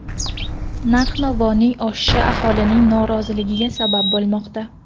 Narx-navoning oshishi aholining noroziligiga sabab bo‘lmoqda.